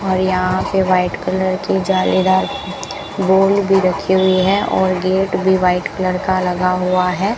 और यहां पे वाइट कलर की जालीदार बॉल भी रखी हुई है और गेट भी वाइट कलर का लगा हुआ है।